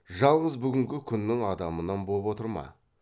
жалғыз бүгінгі күннің адамынан боп отыр ма